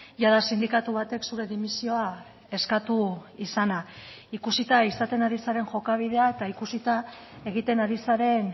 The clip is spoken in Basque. jada sindikatu batek zure dimisioa eskatu izana ikusita izaten ari zaren jokabidea eta ikusita egiten ari zaren